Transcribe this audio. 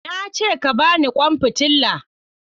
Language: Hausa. Na ce ka ba ni kwan fitila!